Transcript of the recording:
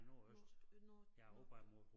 Nord nord nord